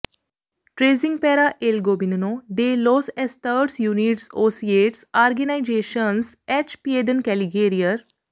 ਟ੍ਰੇਜ਼ਿੰਗ ਪੈਰਾ ਏਲ ਗੋਬੀਨਨੋ ਡੇ ਲੋਸ ਐਸਟਡਸ ਯੂਨਿਡਸ ਓ ਸਿਯੇਟਸ ਆਰਗੇਨਾਈਜ਼ੇਸ਼ਨਸ ਐਚ ਪੀਏਡਨ ਕੈਲੀਗੇਰਿਅਰ